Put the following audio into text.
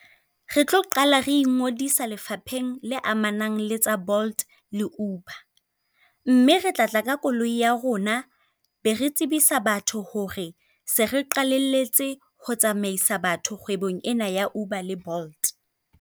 Re tlo qala re ingodisa lefapheng le amanang le tsa Bolt le Uber. Mme re tla tla ka koloi ya rona be re tsebisa batho hore se re qalelletse ho tsamaisa batho kgwebong ena ya Uber le Bolt.